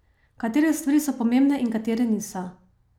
Katere stvari so pomembne in katere niso.